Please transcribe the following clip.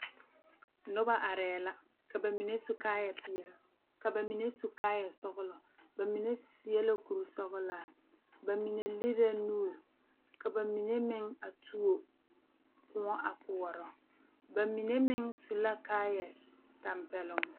Noba arɛɛ la ka ba mine su kaayɛ peɛle ka ba mine su kaayɛ sɔgelɔ ba mine seɛ la kuri sɔgelaa ba mine lere la nuure ba mine meŋ a tuo Kóɔ a koɔrɔ ba mine meŋ su la kaayɛ tɛmpeloŋ